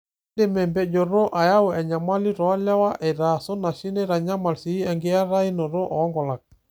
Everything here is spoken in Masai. Keidim empejoto ayau enyamali toolewa aitaa sunashi neitanyamal sii enkiatainoto oonkulak.